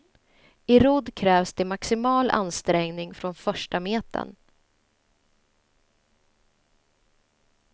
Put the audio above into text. I rodd krävs det maximal ansträngning från första metern.